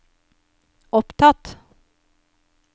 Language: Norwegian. opptatt